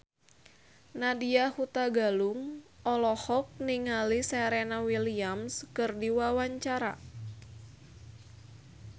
Nadya Hutagalung olohok ningali Serena Williams keur diwawancara